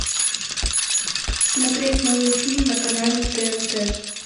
смотреть новый фильм на канале тнт